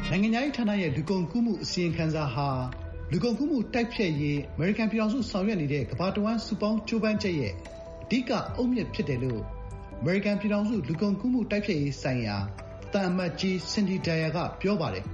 နိုင်ငံခြားရေးဌာနရဲ့ လူကုန်ကူးမှုအစီရင်ခံစာဟာ “လူကုန်ကူးမှု တိုက်ဖျက်နိုင်ရေး ကျမတို့ဆောင်ရွက်နေတဲ့ ကမ္ဘာတဝန်း စုပေါင်း ကြိုးပမ်းချက်ရဲ့ အဓိက အုတ်မြစ်ဖြစ်တယ်” လို့ အမေရိကန်ပြည်ထောင်စု လူကုန်ကူးမှု တိုက်ဖျက်ရေးဆိုင်ရာ သံအမတ်ကြီး စင်ဒီဒိုင်ယာ က ပြောပါတယ်